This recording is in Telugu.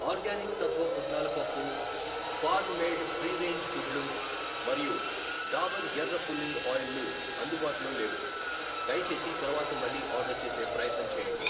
ఆర్గానిక్ తత్వ పుట్నాల పప్పు, ఫార్మ్ మేడ్ ఫ్రీ రేంజ్ గుడ్లు మరియు డాబర్ ఎర్ర పుల్లింగ్ ఆయిల్ లు అందుబాటులో లేవు, దయచేసి తరువాత మళ్ళీ ఆర్డర్ చేసే ప్రయత్నం చేయండి.